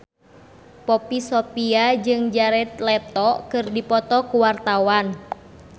Poppy Sovia jeung Jared Leto keur dipoto ku wartawan